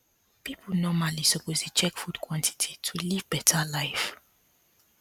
people normally suppose dey check food quantity to live better life